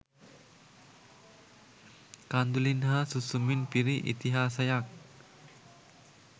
කඳුළින් හා සුසුමින් පිරි ඉතිහාසයක්